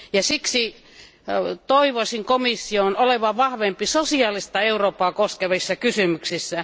Niinpä toivoisin komission olevan vahvempi sosiaalista Eurooppaa koskevissa kysymyksissä.